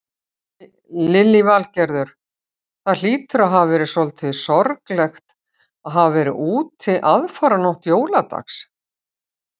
Lillý Valgerður: Það hlýtur að hafa verið svolítið sorglegt að hafa verið úti aðfaranótt jóladags?